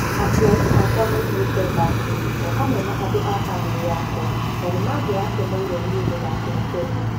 Aciari akwa moimĩtĩ Bakley, o hamwe na andũ a famĩrĩ yakwa, na nĩmangĩrakenire nĩe gũthakĩra Kenya.